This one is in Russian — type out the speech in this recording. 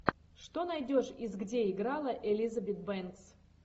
что найдешь из где играла элизабет бэнкс